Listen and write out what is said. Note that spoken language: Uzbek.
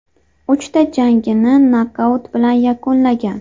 Uchta jangini nokaut bilan yakunlagan.